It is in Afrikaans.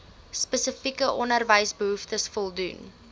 spesifieke onderwysbehoeftes voldoen